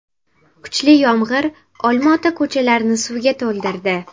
Kuchli yomg‘ir Olma-ota ko‘chalarini suvga to‘ldirdi .